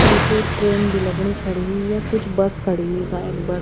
एक ये ट्रेन भी लगणी खड़ी हुई यख कुछ बस खड़ी हुई सायद बस ।